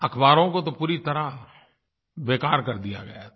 अख़बारों को तो पूरी तरह बेकार कर दिया गया था